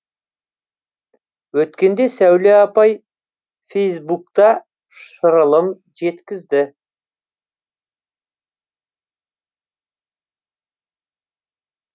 өткенде сәуле апай фэйсбукта шырылын жеткізді